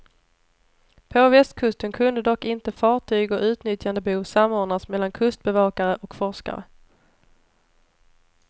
På västkusten kunde dock inte fartyg och utnyttjandebehov samordnas mellan kustbevakare och forskare.